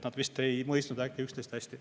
Nad vist ei mõistnud üksteist hästi.